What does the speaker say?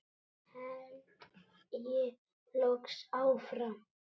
held ég loks áfram.